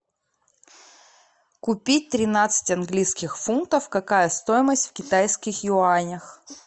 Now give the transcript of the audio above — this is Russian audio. купить тринадцать английских фунтов какая стоимость в китайских юанях